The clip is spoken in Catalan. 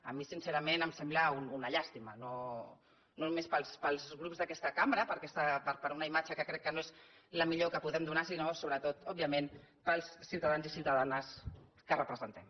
a mi sincerament em sembla una llàstima no només per als grups d’aquesta cambra per una imatge que crec que no és la millor que podem donar sinó sobretot òbviament per als ciutadans i ciutadanes que representem